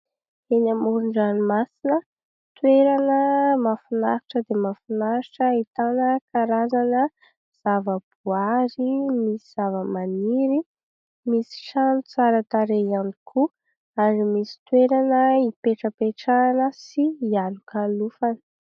Eny amoron-dranomasina, toerana mahafinaritra dia mahafinahitra ahitana karazana zavaboary. Misy zavamaniry, misy trano tsara tarehy ihany koa ary misy toerana ipetrapetrahana sy ialokalofana.